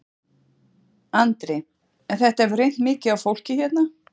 Andri: En þetta hefur reynt mikið á fólkið hérna?